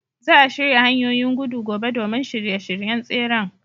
Za a shirya hanyoyin gudu gobe domin shirye-shiryen tseren.